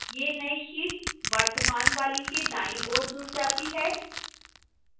यह नई sheet वर्तमान वाली के दाईं ओर जुड़ जाती है